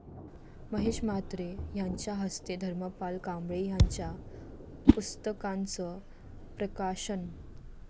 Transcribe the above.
महेश म्हात्रे यांच्या हस्ते धर्मपाल कांबळे यांच्या पुस्तकांचं प्रकाशन